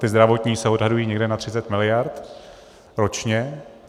Ty zdravotní se odhadují někde na 30 mld. ročně.